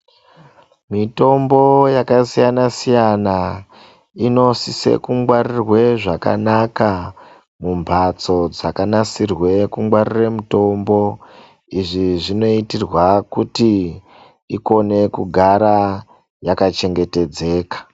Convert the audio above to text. Mitombo yakasiyana-siyana inosise kugwarirwa zvakanaka mumbatso dzakanasirwe kungwarire mitombo. Izvi zvinoitirwe kuti ikone kugara yakachengetedzeka.